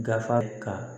Gafe ka